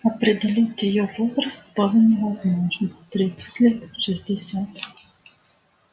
определить её возраст было невозможно тридцать лет шестьдесят